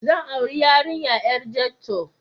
Zan auri 'yarinya 'yar ghetto.